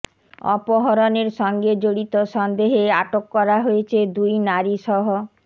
অপহরণের সঙ্গে জড়িত সন্দেহে আটক করা হয়েছে দুই নারীসহ